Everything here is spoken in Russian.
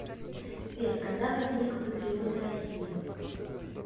сбер когда возник патриоты россии